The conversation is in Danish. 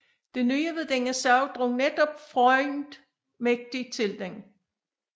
Det nye ved denne sag drog netop Freund mægtig til den